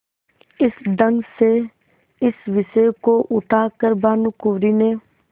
इस ढंग से इस विषय को उठा कर भानुकुँवरि ने